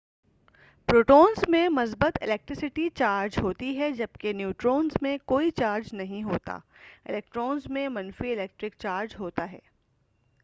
protons میں مثبت electricity charge ہوتی ہے جبکہ نیوٹرونز میں کوئی چارج نہیں ہوتا الیکٹرونز میں منفی الیکٹرک چارج ہوتا ہے